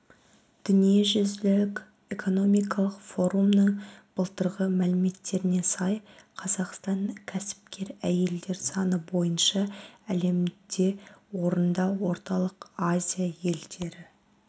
дүниежүзілік экономикалық форумның былтырғы мәліметтеріне сай қазақстан кәсіпкер әйелдер саны бойынша әлемде орында орталық азия елдері